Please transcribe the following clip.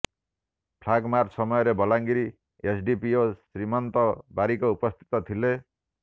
flag march ସମୟରେ Bolangir SDPO Srimanta Barik ଉପସ୍ଥିତ ଥିଲେ